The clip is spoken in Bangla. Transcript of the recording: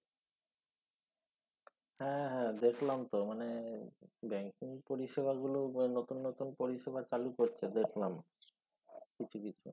হ্যা হ্যাঁ দেখলাম তো মানে banking পরিষেবাগুলো মানে নতুন নতুন পরিষেবা চালু করছে দেখলাম। কিছু কিছু